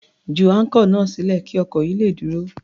Ju áńkọ̀ náà sílẹ̀ kí ọkọ̀ yìí le dúró.